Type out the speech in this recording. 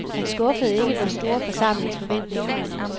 Han skuffede ikke den store forsamlings forventninger.